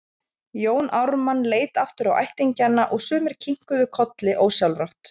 Jón Ármann leit aftur á ættingjana og sumir kinkuðu kolli ósjálfrátt.